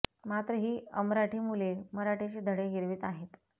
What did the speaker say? मात्र ही अमराठी मुले मराठीचे धडे गिरवित आहेत